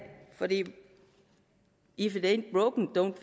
fordi if it